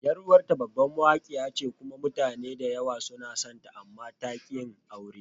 Yar uwarta babbar Mawaƙa ce kuma mutane da yawa suna sonta, amma ta ƙi yin aure.